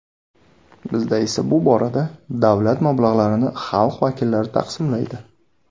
Bizda esa bu borada davlat mablag‘larini xalq vakillari taqsimlaydi.